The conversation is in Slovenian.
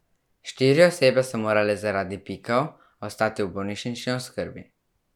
Štiri osebe so morale zaradi pikov ostati v bolnišnični oskrbi.